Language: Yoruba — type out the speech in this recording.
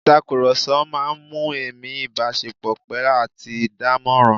Ìtàkùrọ̀sọ máa ń mú ẹ̀mí ìbáṣepọ̀ pẹ́ àti dánmọ́nrán